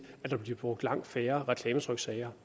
at der bliver brugt lang færre reklametryksager